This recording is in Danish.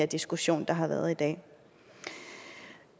diskussion der har været i dag